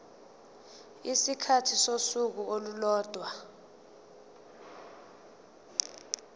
isikhathi sosuku olulodwa